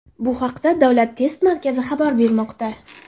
Bu haqda Davlat test markazi xabar bermoqda .